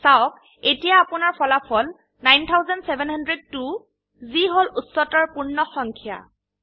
চাওক এতিয়া আপোনাৰ ফলাফল ৯৭০২ যি হল উচ্চতৰ পূৰ্ণ সংখ্যা